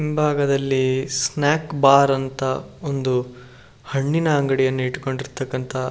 ಹಿಂಭಾಗದಲ್ಲಿ snack bar ಅಂತ ಒಂದು ಹಣ್ಣಿನ ಅಂಗಡಿ ಇದ್ಕೊಂಡಿರ್ತಾಕ್ಕಂತಹ --